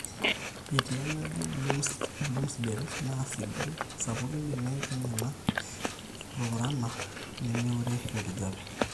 etii enaji bloomsdale naa sidai, sapuki imbenek enyena, epurrupurrana nemeure enkijape